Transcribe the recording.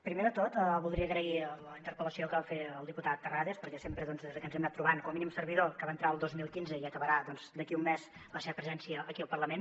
primer de tot voldria agrair la interpel·lació que va fer el diputat terrades perquè sempre des de que ens hem anat trobant com a mínim servidor que va entrar el dos mil quinze i acabarà doncs d’aquí un mes la seva presència aquí al parlament